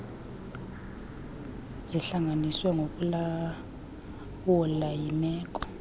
zihlanganiswe ngokulawulwa yimeko